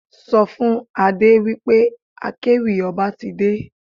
Sọ fún Adé wí pé akéwì ọba ti dé.